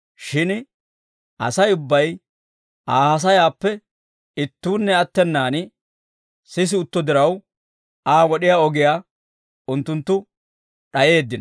Shin Asay ubbay Aa haasayaappe ittuunne attenaan sisi utto diraw, Aa wod'iyaa ogiyaa unttunttu d'ayeeddino.